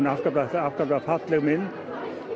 er afskaplega afskaplega falleg mynd